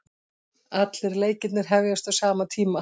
Allir leikirnir hefjast á sama tíma